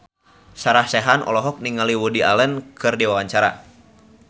Sarah Sechan olohok ningali Woody Allen keur diwawancara